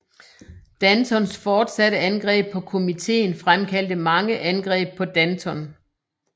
Dantons fortsatte angreb på komitéen fremkaldte mange angreb på Danton